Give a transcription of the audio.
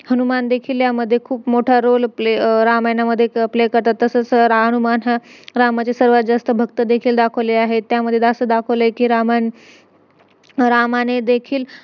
ते त्यांनी बनवलेलं होतं ते bracelet असं तसं काय ना काय फेकत होते production करण